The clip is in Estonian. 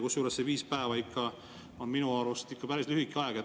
Kusjuures see viis päeva on minu arust ikka päris lühike aeg.